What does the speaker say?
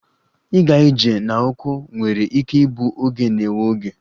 Ịga ije na ụkwụ nwere ike ịbụ oge na-ewe oge